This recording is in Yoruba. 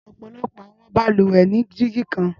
Ọpọlọpọ awọn balùwẹ ni digi kan.